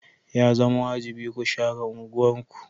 Ya zama wajibi ku share unguwarku.